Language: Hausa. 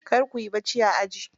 Kar kuyi bacci a aji.